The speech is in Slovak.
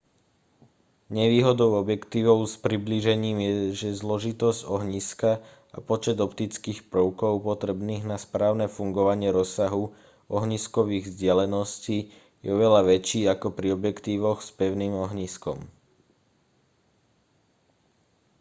nevýhodou objektívov s priblížením je že zložitosť ohniska a počet optických prvkov potrebných na správne fungovanie rozsahu ohniskových vzdialeností je oveľa väčší ako pri objektívoch s pevným ohniskom